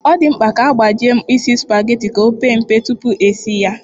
Ọ dị mkpa ka a gbajie mkpịsị sụpageti ka o pee mpe tupu esi ya.